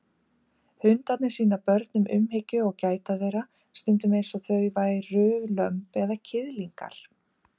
Hundarnir sýna börnum umhyggju og gæta þeirra stundum eins og þau væru lömb eða kiðlingar.